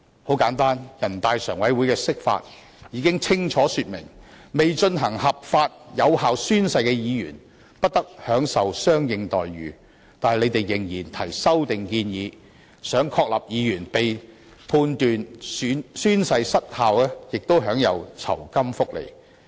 很簡單，全國人民代表大會常務委員會的釋法已經清楚說明，未進行合法有效宣誓的議員不得享受相應待遇，但他們仍然提出修訂建議，想確立議員被判宣誓失效亦應享有酬金福利。